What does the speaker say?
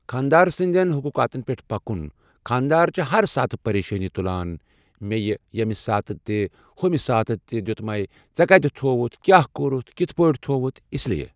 خانٛدار سٕنٛدٮ۪ن حقوٗقاتن پٮ۪ٹھ پکُن خانٛدار چھ ہر ساتہٕ پریشٲنی تلان مےٚ یہ ییٚمہِ ساتہٕ تہِ ہُمہِ ساتہٕ دیُتمے ژےٚ کتہِ تھووُتھ کیٛاہ کوٚرتھ کِتھ پٲٹھۍ تھووتھ اس لیے